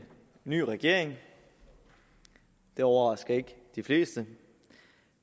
ny regering det overrasker ikke de fleste